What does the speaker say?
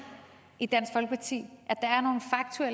i dansk folkeparti